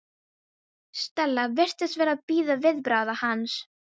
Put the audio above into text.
Stella virtist vera að bíða viðbragða hans.